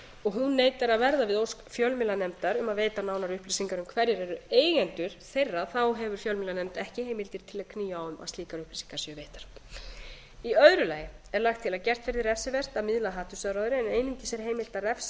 og hún neitar að verða við ósk fjölmiðlanefndar um að veita nánari upplýsingar um hverjir eru eigendur þeirra hefur fjölmiðlanefnd ekki heimildir til að knýja á um að slíkar upplýsingar séu veittar í öðru lagi er lagt til að gert verði refsivert að miðla hatursáróðri en einungis er heimilt að refsa